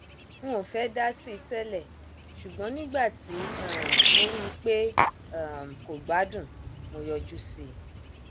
n ò fẹẹ dá sí i tẹlẹ ṣùgbọn nígbà tí um mo rí i pé um kò gbádùn mo yọjú sí i